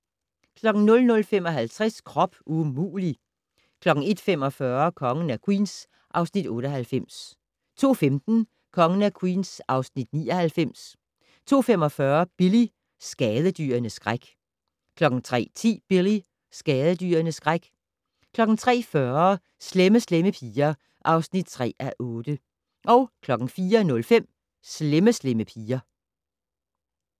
00:55: Krop umulig! 01:45: Kongen af Queens (Afs. 98) 02:15: Kongen af Queens (Afs. 99) 02:45: Billy - skadedyrenes skræk 03:10: Billy - skadedyrenes skræk 03:40: Slemme Slemme Piger (3:8) 04:05: Slemme Slemme Piger